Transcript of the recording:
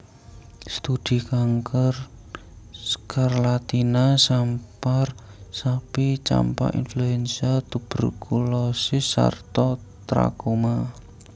Studi kanker skarlatina sampar sapi campak influenza tuberkulosis sarta trakoma